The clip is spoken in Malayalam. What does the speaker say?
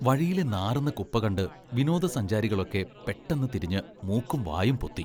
വഴിയിലെ നാറുന്ന കുപ്പ കണ്ട് വിനോദസഞ്ചാരികളൊക്കെ പെട്ടെന്ന് തിരിഞ്ഞ് മൂക്കും വായും പൊത്തി.